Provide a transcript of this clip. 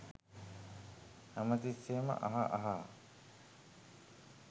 හැම තිස්සෙම අහ අහා